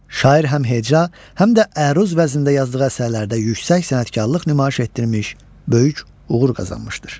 Şair həm heca, həm də əruz vəznində yazdığı əsərlərdə yüksək sənətkarlıq nümayiş etdirmiş, böyük uğur qazanmışdır.